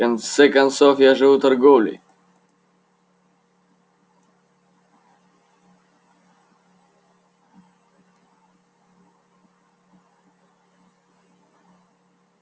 в конце концов я живу торговлей